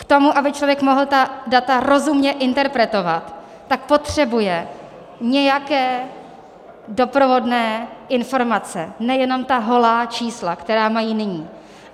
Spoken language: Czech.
K tomu, aby člověk mohl ta data rozumně interpretovat, tak potřebuje nějaké doprovodné informace, nejenom ta holá čísla, která mají nyní.